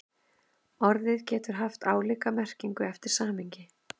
Orðið getur haft ólíka merkingu eftir samhengi.